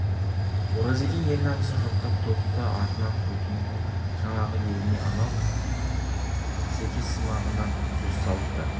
оразекең ел намысын жоқтап тобықты атынан көкеннің жаңағы еліне анау серкесымағына сөз салыпты